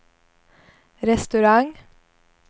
restaurang